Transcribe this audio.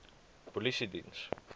polisiediens